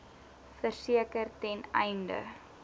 verseker ten einde